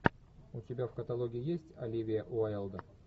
у тебя в каталоге есть оливия уайлд